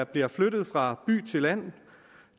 bliver flyttet fra by til land